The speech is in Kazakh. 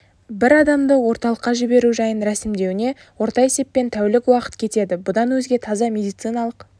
бір адамды орталыққа жіберу жайын рәсімдеуіне орта есеппен тәулік уақыт кетеді бұдан өзге таза медициналық